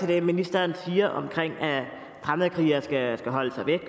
det ministeren siger om at fremmedkrigere skal holde sig væk